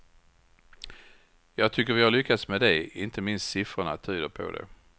Jag tycker vi har lyckats med det, inte minst siffrorna tyder på det.